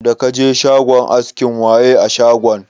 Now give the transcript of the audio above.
Da kaje shagon askin waye a shagon?